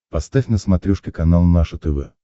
поставь на смотрешке канал наше тв